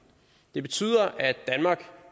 det betyder at danmark